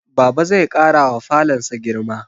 Baba zai ƙarawa falonsa girma